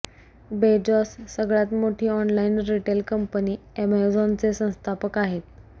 Bezos सगळ्यात मोठी online retail company अॅमेझॉनचे संस्थापक आहेत